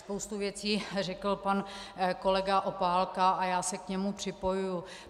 Spoustu věcí řekl pan kolega Opálka a já se k němu připojuji.